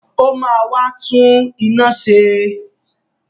Ó máa wá tún iná ṣe!